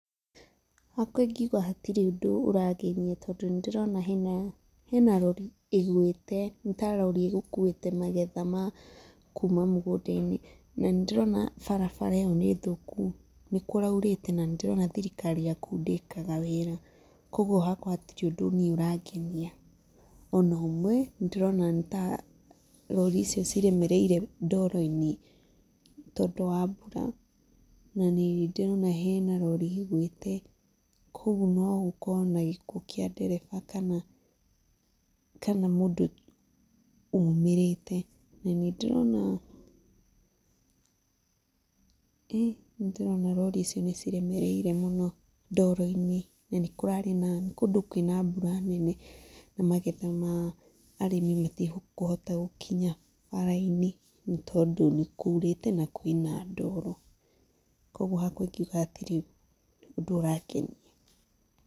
Hakwa ingiuga hatirĩ ũndũ ũrangenia tondũ nĩ ndĩrona hena, hena rori ĩgwĩte, ni ta rori ĩgũkuĩte magetha ma kuma mũgũnda-inĩ na nĩ ndĩrona barabara ĩyo nĩ thũku. Nĩkũraurĩte na nĩ ndĩrona thirikari ya kũu ndĩkaga wĩra. Kogwo hakwa hatirĩ ũndũ niĩ ũrangenia ona ũmwe. Ndĩrona ta rori icio ciremereire ndoro-inĩ tondũ wa mbura na nĩ ndĩrona hena rori ĩgwĩte. Kogwo no gũkorwo na gĩkuũ kĩa ndereba kana mũndũ umĩrĩte. Na nĩ ndĩrona rori icio nĩciremereire mũno ndoro-inĩ na nĩ kũrarĩ na, nĩ kũndũ kwĩna mbura nene. Na magetha ma arĩmi matikũhota gũkinya bara-inĩ nĩ tondũ nĩkurĩte na kwĩna ndoro. Kogwo hakwa ingiuga hatirĩ ũndũ ũrangenia.